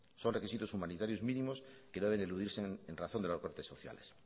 son requisitos humanitarios mínimos que no deben eludirse en razón de los recortes sociales